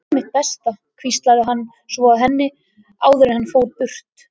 Ég geri mitt besta, hvíslaði hann svo að henni áður en hann fór burt.